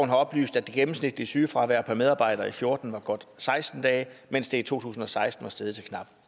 har oplyst at det gennemsnitlige sygefravær per medarbejder i fjorten var godt seksten dage mens det i to tusind og seksten var steget til knap